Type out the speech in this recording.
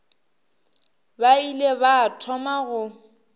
ba ile ba thoma go